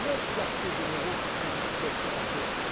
Neuf quartiers généraux qui font duplication entre eux!